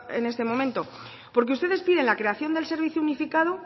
en actuación en este momento porque ustedes piden la creación del servicio unificado